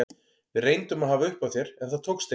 Við reyndum að hafa upp á þér en það tókst ekki.